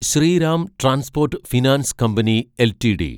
Shriram transport finance company LTD